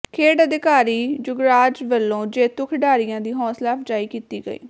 ਖੇਡ ਅਧਿਕਾਰੀ ਯੋਗਰਾਜ ਵੱਲੋਂ ਜੇਤੂ ਖਿਡਾਰੀਆਂ ਦੀ ਹੌਂਸਲਾ ਅਫ਼ਜਾਈ ਕੀਤੀ ਗਈ